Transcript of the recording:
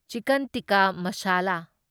chicken tikka ꯃꯁꯥꯂꯥ